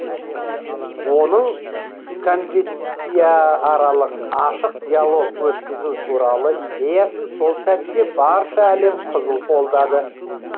оның конфессия аралық ашық диалог өткізу туралы идеясын сол сәтте барша әлем қызу қолдады